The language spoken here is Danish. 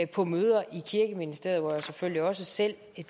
på møder i kirkeministeriet hvor jeg selvfølgelig også selv